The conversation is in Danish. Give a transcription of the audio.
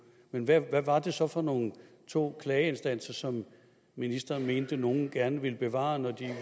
men hvad var det så for nogle to klageinstanser som ministeren mente at nogle gerne ville bevare